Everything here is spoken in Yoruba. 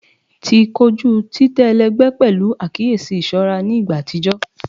Ti koju titẹ ẹlẹgbẹ pẹlu akiyesi iṣọra ni igba atijọ